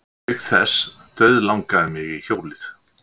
Auk þess dauðlangaði mig í hjólið.